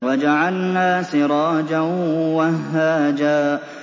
وَجَعَلْنَا سِرَاجًا وَهَّاجًا